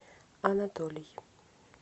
анатолий